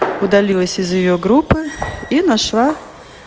удалилась из её группы и нашла